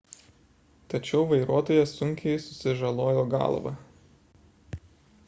tačiau vairuotojas sunkiai susižalojo galvą